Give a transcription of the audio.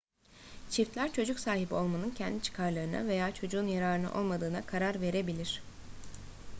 çiftler çocuk sahibi olmanın kendi çıkarlarına veya çocuğun yararına olmadığına karar verebilir